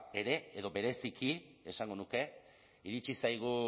ere edo bereziki esango nuke iritsi zaigu